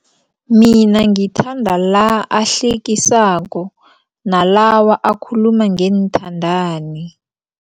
Mina ngithanda la ahlekisako nalawa akhuluma ngeenthandani.